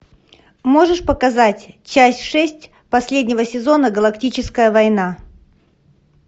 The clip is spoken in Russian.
можешь показать часть шесть последнего сезона галактическая война